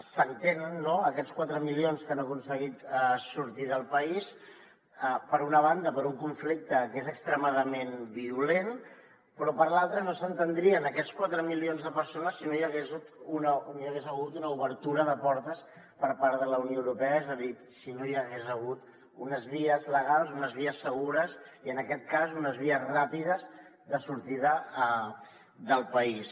s’entenen no aquests quatre milions que han aconseguit sortir del país per una banda per un conflicte que és extremadament violent però per l’altra no s’entendrien aquests quatre milions de persones si no hi hagués hagut una obertura de portes per part de la unió europea és a dir si no hi hagués hagut unes vies legals unes vies segures i en aquest cas unes vies ràpides de sortida del país